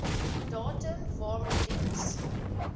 datum waarop diens